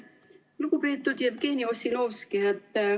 Lugupeetud Jevgeni Ossinovski!